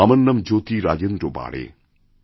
আমারনাম জ্যোতি রাজেন্দ্র বাড়ে